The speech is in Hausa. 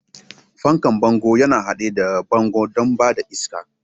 Fankan bango yana haɗe da bango don ba da iska.